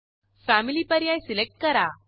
family पर्याय select करा